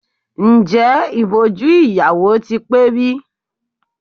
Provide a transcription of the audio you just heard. Ǹjẹ́ ìbòjú ìyàwó ti pé bí?